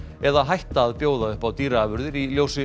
eða hætta að bjóða upp á dýraafurðir í ljósi